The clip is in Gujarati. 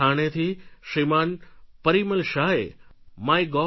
થાણેથી શ્રીમાન પરિમલ શાહે mygov